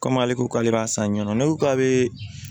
Komi ale ko k'ale b'a san ɲɛnɛ n'u k'ale